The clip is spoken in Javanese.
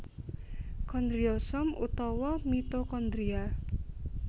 Kondriosom utawa mitokondria